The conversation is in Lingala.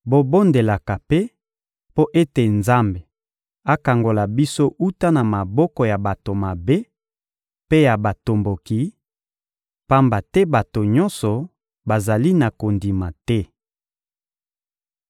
Bobondelaka mpe mpo ete Nzambe akangola biso wuta na maboko ya bato mabe mpe ya batomboki, pamba te bato nyonso bazali na kondima te.